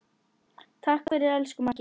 Takk fyrir, elsku Maggi.